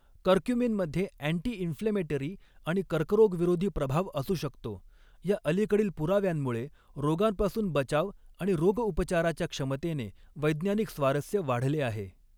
कर्क्यूमिनमध्ये anti inflammatory आणि कर्करोगविरोधी प्रभाव असू शकतो या अलीकडील पुराव्यांमुळे रोगांपासून बचाव आणि रोगउपचाराच्या क्षमतेने वैज्ञानिक स्वारस्य वाढले आहे.